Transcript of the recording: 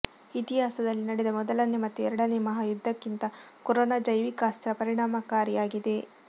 ಇತಿಹಾಸದಲ್ಲಿ ನಡೆದ ಮೊದಲನೇ ಮತ್ತು ಎರಡನೇ ಮಹಾಯುದ್ಧಕಿಂತ ಕೊರೋನಾ ಜೈವಿಕ ಅಸ್ತ್ರ ಪರಿಣಾಮಕಾರಿಯಾಗಿದೆ